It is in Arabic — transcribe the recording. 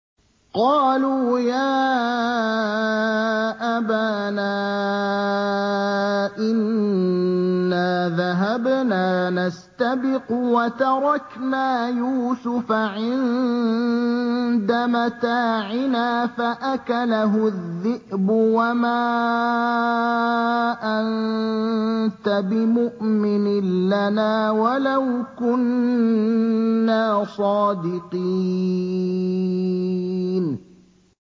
قَالُوا يَا أَبَانَا إِنَّا ذَهَبْنَا نَسْتَبِقُ وَتَرَكْنَا يُوسُفَ عِندَ مَتَاعِنَا فَأَكَلَهُ الذِّئْبُ ۖ وَمَا أَنتَ بِمُؤْمِنٍ لَّنَا وَلَوْ كُنَّا صَادِقِينَ